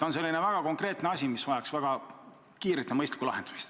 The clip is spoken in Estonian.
See on konkreetne küsimus, mis vajaks väga kiiret ja mõistlikku lahendamist.